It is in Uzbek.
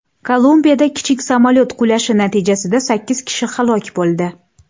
Kolumbiyada kichik samolyot qulashi natijasida sakkiz kishi halok bo‘ldi.